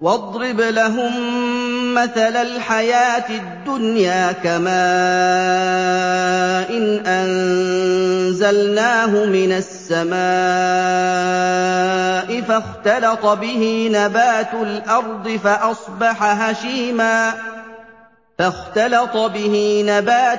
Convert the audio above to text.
وَاضْرِبْ لَهُم مَّثَلَ الْحَيَاةِ الدُّنْيَا كَمَاءٍ أَنزَلْنَاهُ مِنَ السَّمَاءِ فَاخْتَلَطَ بِهِ نَبَاتُ